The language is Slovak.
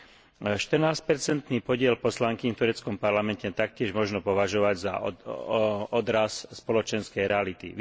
14 percentný podiel poslankýň v tureckom parlamente taktiež možno považovať za odraz spoločenskej reality.